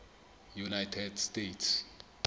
united states